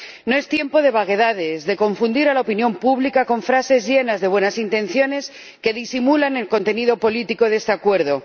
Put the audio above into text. No es tiempo de vaguedades, de confundir a la opinión pública con frases llenas de buenas intenciones que disimulan el contenido político de este acuerdo.